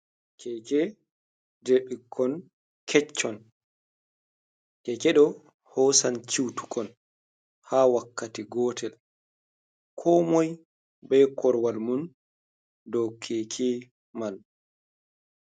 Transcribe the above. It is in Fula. Keeke jey ɓukkon keccon, keeke ɗo hoosan ciwtukon haa wakkati gootel, komoy be korowal mum, dow keeke man.